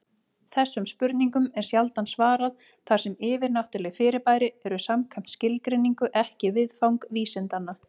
Þessum spurningum er sjaldan svarað, þar sem yfirnáttúruleg fyrirbæri eru samkvæmt skilgreiningu ekki viðfang vísindanna.